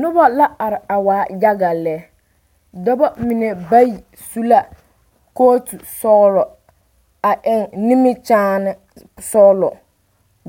Noba la are a waa yaga lɛ dɔba mine bayi su la kɔɔtu sɔgelɔ a eŋ nimikyaane sɔgelɔ